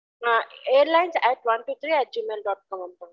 ம் airlines at one two three gmail dot com